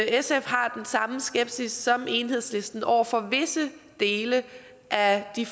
sf har den samme skepsis som enhedslisten over for visse dele af de